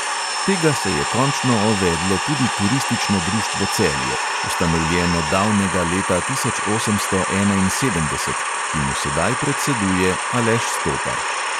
Tega se je končno ovedlo tudi turistično društvo celje, ustanovljeno davnega leta tisoč osemsto enainsedemdeset, ki mu sedaj predseduje aleš stopar.